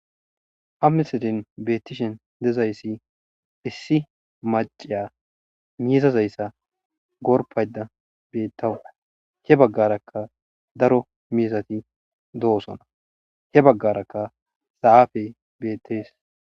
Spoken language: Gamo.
Ha misilen betishe dizaysi issi maciya mizazaysa gorpashe betawus he bagaraka daro mizati dosona he bagaraka zafey betes